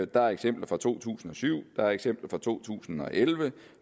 der er eksempler fra to tusind og syv der er eksempler fra to tusind og elleve